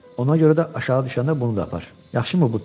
Ona görə də aşağı düşəndə bunu da apar, yaxşımı Bupi?